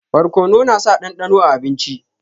Barkonu na sa dandano a abinci